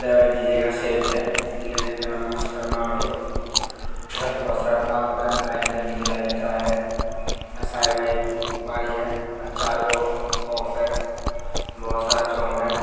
यहाँ एक डी.जे क सेट है। डी.जे के सेट का नाम है शर्मा औडियो इधर बहुत सारा है लाइट जो है डी.जे लाइट जैसा है। यहाँ साइड में एक बारी हैअ चार गो बॉक्स है बहुत सारा है।